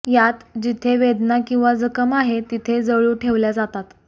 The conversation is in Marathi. यात जिथे वेदना किंवा जखम आहे तिथे जळू ठेवल्या जातात